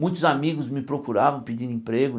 Muitos amigos me procuravam pedindo emprego.